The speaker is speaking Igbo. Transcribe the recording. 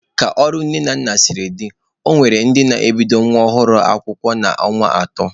Ka ọrụ nne na nna siri dị, ọ nwere ndị na-ebidoro nwa ọhụrụ ha akwụkwọ n'ọnwa atọ.